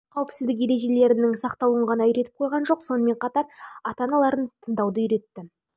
қауіпсіздік ережелерінің сақталуын ғана үйретіп қойған жоқ сонымен қатар ата-аналарын тыңдауды үйретті ал тіл алғыш